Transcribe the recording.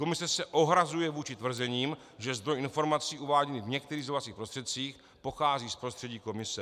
Komise se ohrazuje vůči tvrzením, že zdroj informací uváděný v některých sdělovacích prostředcích pochází z prostředí komise.